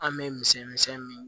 An bɛ misɛn misɛnnin min